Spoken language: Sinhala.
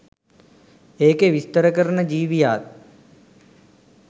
ඒකෙ විස්තර කරන ජීවියාත්